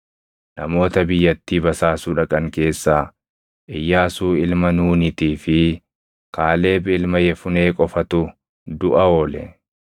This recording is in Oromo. Namoota biyyattii basaasuu dhaqan keessaa Iyyaasuu ilma Nuunitii fi Kaaleb ilma Yefunee qofatu duʼa oole.